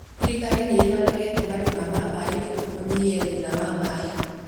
Thirikari nĩĩthondekete marima ma maĩ nĩguo kũnyihia thĩna wa maĩ